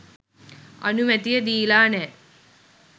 අනුමැතිය දීලා නෑ.